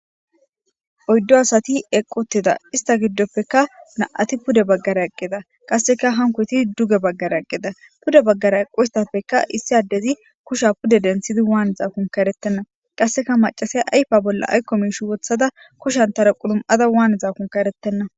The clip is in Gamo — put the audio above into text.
Oyddu asati eqqi uttida; ista giddopekka na'ati pude bagaara eqqida; qasseka hankoyti duge baggara eqqida; pude bagaara eqoysapeka issi addezi kushiya pude denththidi wanizakonka eretenna; qasseka maccasiya ayfa bolla aykko miishi woththida kushantara qulum'ada wanizakonka eretenna.